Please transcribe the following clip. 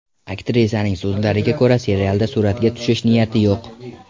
Aktrisaning so‘zlariga ko‘ra, serialda suratga tushish niyati yo‘q.